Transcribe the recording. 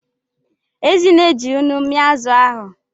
Ezinne ji nnu mia azụ ahụ.